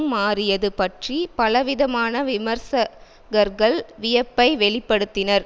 மாறியது பற்றி பலவிதமான விமர்சகர்கள் வியப்பை வெளி படுத்தினர்